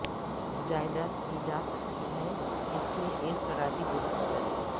جائیداد کی جاسکتی ہے جس میں ایک خرابی درست کریں